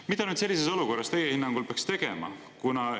Mida sellises olukorras teie hinnangul peaks tegema?